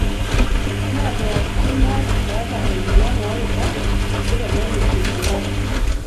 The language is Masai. Mee pooking'ae oota emoyian oorubat oitodolu ilbulabul.